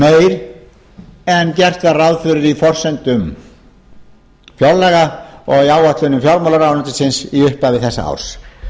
meiri en gert var ráð fyrir í forsendum fjárlaga og í áætlunum fjármálaráðuneytisins í upphafi árs